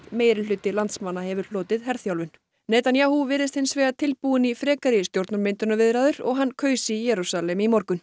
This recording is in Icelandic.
meirihluti landsmanna hefur hlotið herþjálfun Netanyahu virðist hins vegar tilbúinn í frekari stjórnarmyndunarviðræður og hann kaus í Jerúsalem í morgun